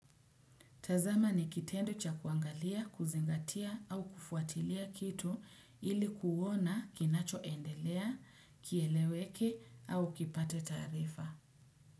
Tazama ni kitendo cha kuangalia, kuzingatia au kufuatilia kitu ili kuona kinacho endelea, kieleweke au kipate taarifa.